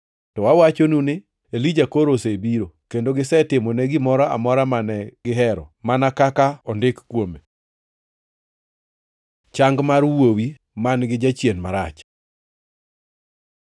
To awachonu ni Elija koro osebiro, kendo gisetimone gimoro amora mane gihero mana kaka ondiki kuome.” Chang mar wuowi man-gi jachien marach